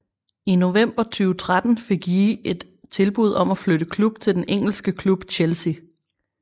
I november 2013 fik Ji et tilbud om at flytte klub til den engelske klub Chelsea